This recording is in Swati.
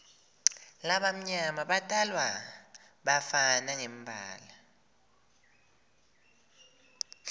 labamnyama batalwa bafana ngembala